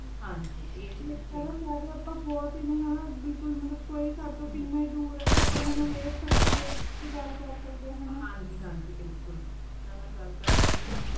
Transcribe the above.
ਹਾਂਜੀ ਆਯ ਏਡੀ ਵਿਚ ਬਿਲਕੁਲ ਮਤਲਬ ਕੋਈ ਸਾਡੇ ਤੋਂ ਕਿੰਨਾ ਏ ਦੂਰ ਆਯ ਆਪਾਂ ਓਨਾਂ ਨੂ ਵੇਖ ਕੇ ਗਲ ਕਰ ਸਕਦੇ ਆਂ ਹੈਂ ਨਾ ਹਾਂਜੀ ਹਾਂਜੀ ਬਿਲਕੁਲ ਓਹਨਾਂ ਨਾਲ ਗਲ ਕਰ ਸਕਦੇ ਆਂ